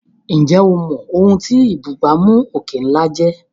Ǹjẹ́ o mọ̀ ohun tí ìbúgbàmù òkè ńlá jẹ́?